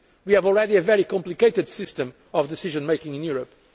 We already have a very complicated system of decision making in